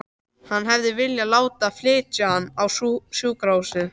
Hann hefði viljað láta flytja hana á sjúkrahúsið.